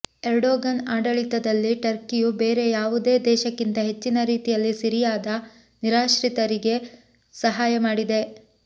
Erdogan ಆಡಳಿತದಲ್ಲಿ ಟರ್ಕಿಯು ಬೇರೆ ಯಾವುದೇ ದೇಶಕ್ಕಿಂತ ಹೆಚ್ಚಿನ ರೀತಿಯಲ್ಲಿ ಸಿರಿಯಾದ ನಿರಾಶ್ರಿತರಿಗೆ ಸಹಾಯ ಮಾಡಿದೆ